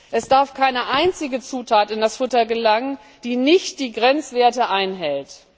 Es darf keine einzige Zutat in das Futter gelangen, die nicht die Grenzwerte einhält.